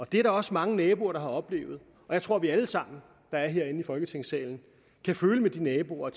det er der også mange naboer der har oplevet jeg tror at vi alle sammen der er herinde i folketingssalen kan føle med de naboer